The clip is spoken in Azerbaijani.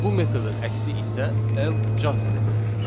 Bu metodun əksi isə L Just metodudur.